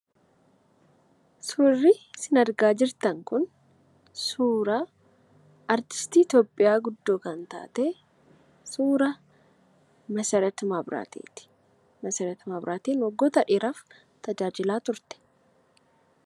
Suurri isin argaa jirtan kun, artistii Ithiyoopiyaa guddoo kan taatee, suuraa Masarat Mabraateeti. Masarat Mabiraate waggoota dheeraaf tajaajila turte.